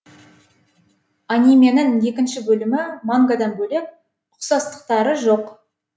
анименің екінші бөлімі мангадан бөлек ұқсастықтары жоқ